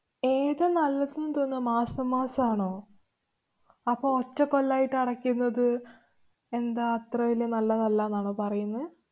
ഏതു നല്ല മാസം മാസം ആണോ? അപ്പൊ ഒറ്റക്കൊല്ലായിട്ട് അടയ്ക്കുന്നത് എന്താ അത്ര വല്യ നല്ലതല്ലന്നാണോ പറയുന്നേ?